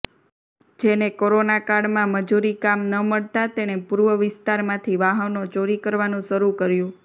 જેને કોરોના કાળમાં મજૂરી કામ ન મળતા તેણે પૂર્વ વિસ્તારમાંથી વાહનો ચોરી કરવાનું શરૂ કર્યું